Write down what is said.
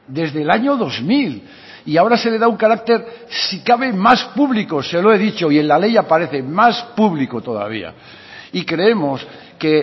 desde el año dos mil y ahora se le da un carácter si cabe más público se lo he dicho y en la ley aparece más público todavía y creemos que